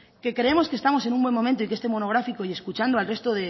que creemos que estamos en un buen momento y que este monográfico y escuchando al resto